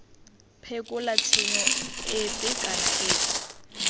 phekola tshenyo efe kana efe